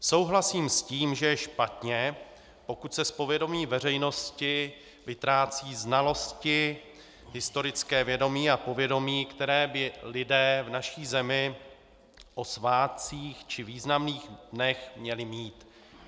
Souhlasím s tím, že je špatně, pokud se z povědomí veřejnosti vytrácejí znalosti, historické vědomí a povědomí, které by lidé v naší zemi o svátcích či významných dnech měli mít.